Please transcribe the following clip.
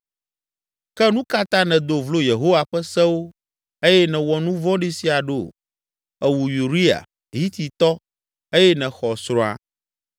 Ke nu ka ta nèdo vlo Yehowa ƒe sewo eye nèwɔ nu vɔ̃ɖi sia ɖo? Èwu Uria, Hititɔ eye nèxɔ srɔ̃a!